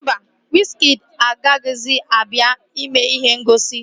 Mba, wizkịdi agaghịzi abịa ime ihe ngosi